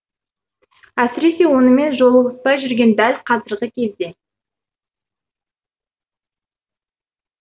әсіресе онымен жолығыспай жүрген дәл қазіргі кезде